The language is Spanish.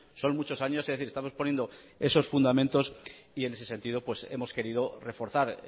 son muchos años es decir estamos poniendo esos fundamentos y en ese sentido hemos querido reforzar